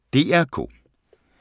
DR K